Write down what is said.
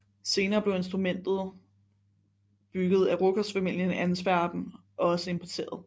Senere blev instrumenter bygget af Ruckers familien i Antwerpen også importeret